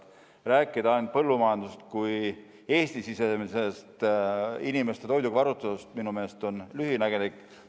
Rääkida põllumajandusest kui ainult Eesti-sisesest inimeste toiduga varustatusest, on minu meelest lühinägelik.